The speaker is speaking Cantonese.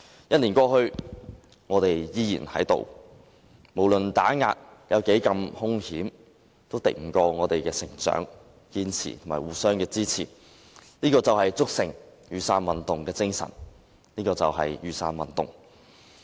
一年過去，我們仍在，無論打壓有多兇險，也敵不過我們的成長、堅持和互相支持，這就築成雨傘運動的精神，這就是雨傘運動。